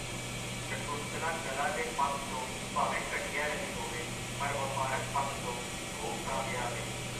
ਸ਼ਕੁੰਤਲਾ ਕਲਾ ਦੇ ਪੱਖ ਤੋਂ ਭਾਵੇਂ ਘਟੀਆ ਰਹੀ ਹੋਵੇ, ਪਰ ਵਪਾਰਕ ਪੱਖ ਤੋਂ ਖੂਬ ਕਾਮਯਾਬ ਏ.